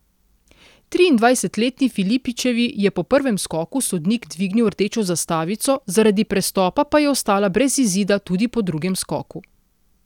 Triindvajsetletni Filipičevi je po prvem skoku sodnik dvignil rdečo zastavico, zaradi prestopa pa je ostala brez izida tudi po drugem skoku.